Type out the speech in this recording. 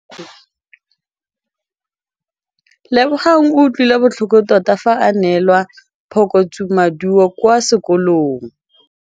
Lebogang o utlwile botlhoko tota fa a neelwa phokotsômaduô kwa sekolong.